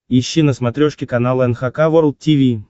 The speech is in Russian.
ищи на смотрешке канал эн эйч кей волд ти ви